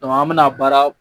an bi na baara